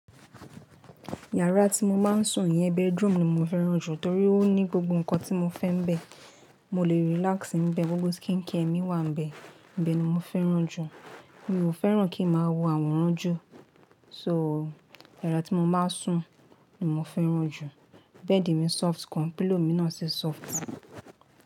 Yàrá tí mo máa ń sùn yẹn, bedroom ni mo fẹ́ràn jù torí ó ní gbogbo nǹkan tí mo fẹ́ ńibẹ. Mo lè relax níbẹ̀, gbogbo skincare mi wà níbẹ̀. Nibẹ̀ ni mo fẹ́ràn jù. Mi ò fẹ́ràn kí ń má wo àwòrán jù, so yàrá tí mo máa ń sùn ni mo fẹ́ràn jù. Bed mi soft gan, pillow mi náà ṣe soft gan.